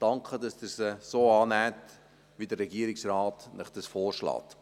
Ich danke, dass Sie diese so annehmen, wie es Ihnen der Regierungsrat vorschlägt.